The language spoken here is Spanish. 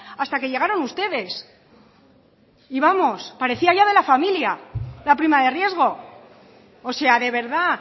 hasta que llegaron ustedes y vamos parecía ya de la familia la prima de riesgo o sea de verdad